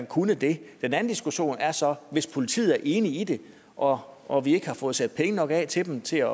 kunne det den anden diskussion er så om hvis politiet er enige i det og og vi ikke har fået sat penge nok af til dem til at